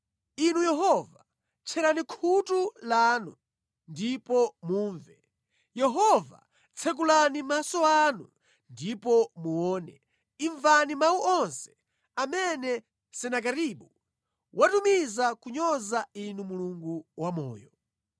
Inu Yehova, tcherani khutu lanu ndipo mumve Yehova tsekulani maso anu ndipo muone, imvani mawu onse amene Senakeribu watumiza kunyoza Inu Mulungu wamoyo.